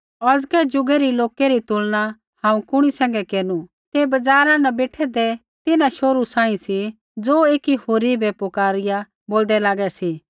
हांऊँ औज़कै ज़ुगै रै लोकै री तुलना हांऊँ कुणी सैंघै केरनु ते बज़ारा न बेठैंदै तिन्हां शोहरू सांही सी ज़ो एकी होरी बै पुकारिया बोलदै लागै सी